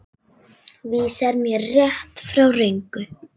Vísar mér rétt, frá röngu.